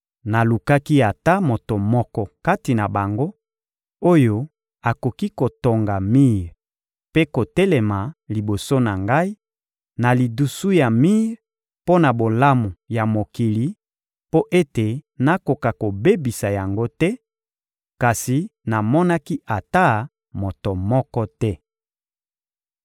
Nalukaki ata moto moko kati na bango, oyo akokaki kotonga mir mpe kotelema liboso na Ngai, na lidusu ya mir mpo na bolamu ya mokili mpo ete nakoka kobebisa yango te, kasi namonaki ata moto moko te.